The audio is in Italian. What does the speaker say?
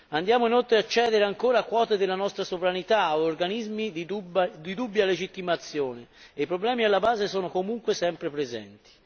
Andiamo inoltre a cedere ancora quote della nostra sovranità a organismi di dubbia legittimazione e i problemi alla base sono comunque sempre presenti.